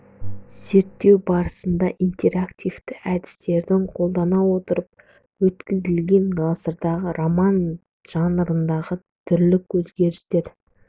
зерттеу барысында интерактивті әдістердің қолдана отырып өткізілген ғасырдағы роман жанрындағы түрлік өзгерістер